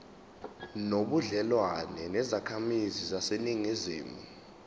nobudlelwane nezakhamizi zaseningizimu